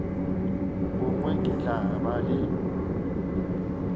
bongwe ke tla ba le